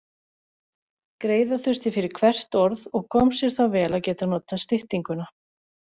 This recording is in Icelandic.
Greiða þurfti fyrir hvert orð og kom sér þá vel að geta notað styttinguna.